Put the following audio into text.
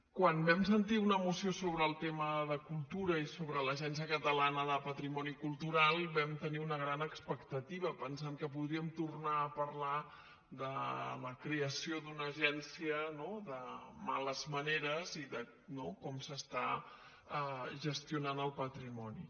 quan vam sentir una moció sobre el tema de cultura i sobre l’agència catalana del patrimoni cultural vam tenir una gran expectativa pensant que podríem tornar a parlar de la creació d’una agència no de males maneres i de com s’està gestionant el patrimoni